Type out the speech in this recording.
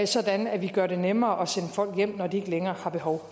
sådan at vi gør det nemmere at sende folk hjem når de ikke længere har behov